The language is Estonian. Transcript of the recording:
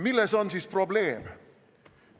Milles on siis probleem?